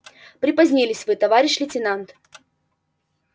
припозднились вы товарищ лейтенант